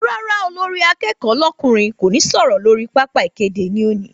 Rárá olórí akẹ́kọ̀ọ́ lọ́kùnrin kò ní sọ̀rọ̀ lórí pápá ìkéde ní òní